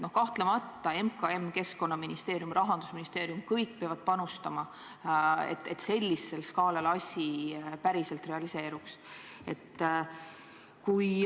Kahtlemata peavad nii MKM, Keskkonnaministeerium kui ka Rahandusministeerium panustama, et sellisel skaalal olev projekt päriselt realiseeruks.